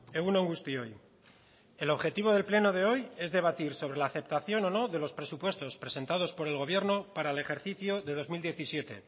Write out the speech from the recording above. egun on guztioi el objetivo del pleno de hoy es debatir sobre la aceptación o no de los presupuestos presentados por el gobierno para el ejercicio de dos mil diecisiete